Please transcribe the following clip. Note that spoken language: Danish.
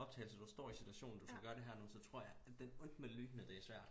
Optagelser du står i situationen du skal gøre det her nu jeg tror jeg den onde lyne det er svært